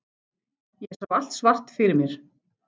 Ég sá allt svart fyrir mér.